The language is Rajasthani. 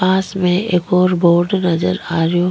पास में एक और बोर्ड नजर आ रेहो --